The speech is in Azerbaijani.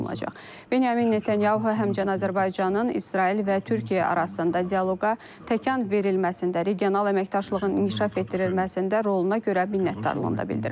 Benyamin Netanyahu həmçinin Azərbaycanın İsrail və Türkiyə arasında dialoqa təkan verilməsində, regional əməkdaşlığın inkişaf etdirilməsində roluna görə minnətdarlığını da bildirib.